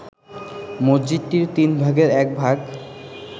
মসজিদটির তিনভাগের একভাগ